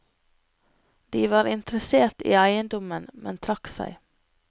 De var interessert i eiendommen, men trakk seg.